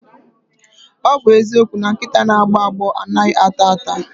Ọ bụ eziokwu na nkịta na-agbọ agbọ anaghị ata ata.